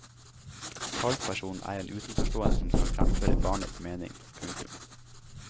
Talspersonen er en utenforstående som skal fremføre barnets mening. punktum